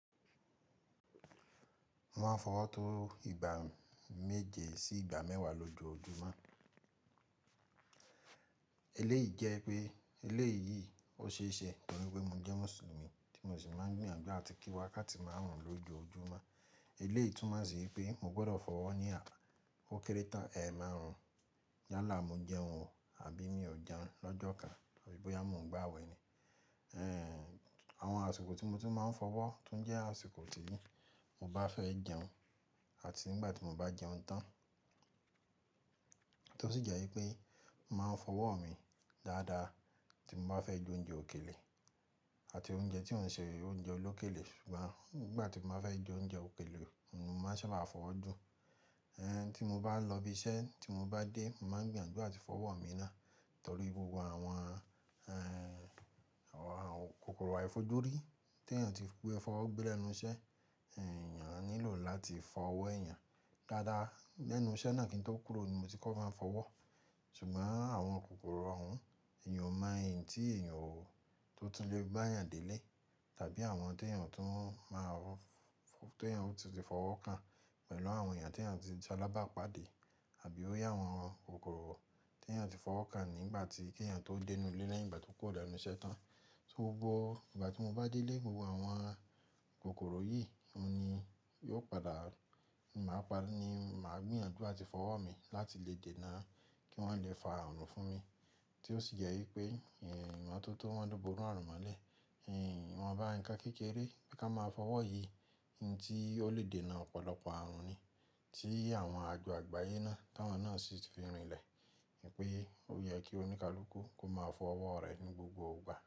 Mo máa ń fọwọ́ tó ìgbà méje sí ìgbà mẹ́wàá lójoojúmọ́. Eléyìí jẹ́ pé eléyìí ó ṣe é ṣe torí pé mo jẹ́ Mùsùlùmí tí mo sì máa ń gbìyànjú àti kí wákáti máarùn lójoojúmọ́. Eléyìí túmo ṣi wipé mo gbọ́dọ̀ fọwọ́ ní à, ó kéré tán ẹ máarùn. Yálà mo jẹun ọ̀h àbí mi ò jẹun lọ́jọ́ kan àbí bóyá mo ń gbàwẹ̀ ni. Ehn, àwọn àsìkò tí mo ti máa ń fọwọ́ tún jẹ́ àsìkò tí mo bá fẹ́ jẹun àti nígbà tí mo bá jẹun tán, tó sì jẹ́ wípé mo máa ń fọwọ́ mi dáadáa tí mo bá fẹ́ jẹ oúnjẹ òkèlè àti oúnjẹ tí ò n ṣe oúnjẹ olókèlè ṣùgbọ́n nígbà tí mo bá fẹ́ jẹ oúnjẹ òkèlè, ni mo máa sábà fọwọ́ jù. Ehn, tí mo bá lọ ibi iṣẹ́ tí mo bá dé, mo máa ń gbìyànjú àti fọwọ́ mi náà torí gbogbo àwọn, ehn, àwọn kòkòrò àìfojúrí tèèyàn tí pé fọwọ́ gbẹ̀ lenu iṣẹ́, ehn, èèyàn nílò láti fọwọ́ èèyàn dáadáa. Lẹ́nu iṣẹ́ náà kí n tó kúrò ni mo ti kọ́ máa ń fọwọ́. Ṣùgbọ́n àwọn kòkòrò òhún èèyàn ò mọ̀ n tí èèyàn tó tun lè gba yàn délé tàbí àwọn tèèyàn tún máa rò, tèèyàn ò ti tu fọwọ́ kán pẹ̀lú àwọn èèyàn tí èèyàn ti salábàápàdé àbí ó yẹ àwọn kòkòrò tèèyàn ti fọwọ́ ká nígbà tí kèèyàn tó dé inú ilé lẹ́yìn ìgbà tí ó kúrò lẹ́nu iṣẹ́ tán. Tó bó, ìgbà tí mo bá dé ilé gbogbo àwọn kòkòrò yìí ohun ni yóò padà, ni máa paa ni màá gbìyànjú àti fọwọ́ mi láti lè dènà kí wọ́n lè fa àrùn fún mi, tí ó sì jẹ́ wípé, ehn, ìmototo wọ́n lo bori àrùn mọ́lẹ̀, ehn, ìwọ̀n bá ń kan kékeré, bí ka máa fọwọ́ yìí hin tí ó lè dènà ọ̀pọ̀lọpọ̀ àrùn ni tí àwọn àjò àgbáyé náà táwọn náà sì ti fi rinlẹ̀ wípé ó yẹ kí oníkálukú kó máa fọwọ́ rẹ̀ ní gbogbo ìgbà.